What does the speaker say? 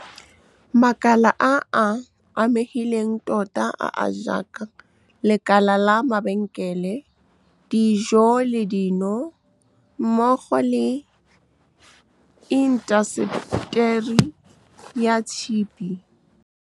Makala a a amegileng tota a a jaaka lekala la mabenkele, dijo le dino mmogo le intaseteri ya tshipi. Makala a a amegileng tota a a jaaka lekala la mabenkele, dijo le dino mmogo le intaseteri ya tshipi.